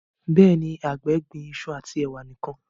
béèni àgbè gbìn iṣu ati ewa nìkàn.